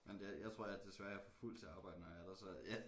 Men det jeg tror jeg desværre er for fuld til at arbejde når jeg er der så ja